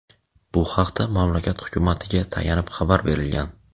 Bu haqda mamlakat Hukumatiga tayanib xabar berilgan.